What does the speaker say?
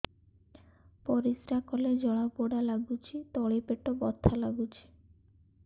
ପରିଶ୍ରା କଲେ ଜଳା ପୋଡା ଲାଗୁଚି ତଳି ପେଟ ବଥା ଲାଗୁଛି